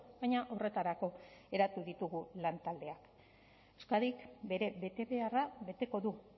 baina horretarako eratu ditugu lantaldeak euskadik bere betebeharra beteko du